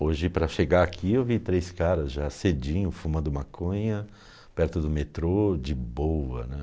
Hoje, para chegar aqui, eu vi três caras já cedinho, fumando maconha, perto do metrô, de boa, né?